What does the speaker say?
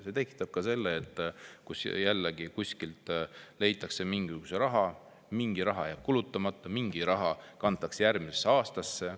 See tekitab, kus jälle leitakse kuskilt mingisugune raha, mingi raha jääb kulutamata, mingi raha kantakse üle järgmisesse aastasse.